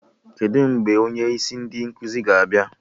Kedụ mgbe onye isi ndị nkụzi ga-abịa?